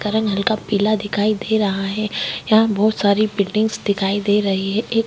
का रंग हल्का पीला दिखाई दे रहा है यहाँ बहुत सारी बिल्डिंगस दिखाई दे रही है।